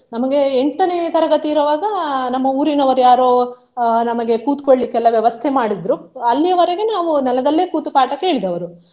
ನಮ್ಗೆ ಎಂಟನೇ ತರಗತಿ ಇರುವಾಗ ನಮ್ಮ ಉರಿನವರು ಯಾರೋ ಅಹ್ ನಮ್ಗೆ ಕೂತುಕೊಳ್ಳಿಕ್ಕೆ ಎಲ್ಲ ವ್ಯವಸ್ಥೆ ಮಾಡಿದ್ರು. ಅಲ್ಲಿಯವರೆಗೆ ನಾವು ನೆಲದಲ್ಲೇ ಕೂತು ಪಾಠ ಕೇಳಿದವರು.